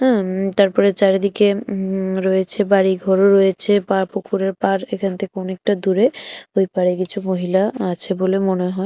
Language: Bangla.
উম্ তারপরে চারিদিকে উ রয়েছে বাড়িঘরও রয়েছে বা পুকুরের পাড় এখান থেকে অনেকটা দূরে ঐ পারে কিছু মহিলা আছে বলে মনে হয়।